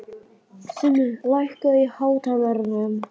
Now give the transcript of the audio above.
Simmi, lækkaðu í hátalaranum.